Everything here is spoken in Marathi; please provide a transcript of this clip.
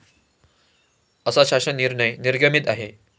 असा शासन निर्णय निर्गमित आहे.